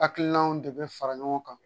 Hakilinaw de bɛ fara ɲɔgɔn kan